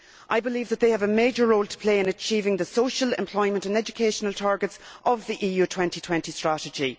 I believe that they have a major role to play in achieving the social, employment and educational targets of the EU 2020 Strategy.